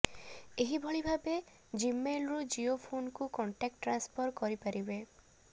ଏହିଭଳି ଭାବେ ଜିମେଲରୁ ଜିଓ ଫୋନକୁ କଣ୍ଟାକ୍ଟ ଟ୍ରାନ୍ସଫର କରିପାରିବେ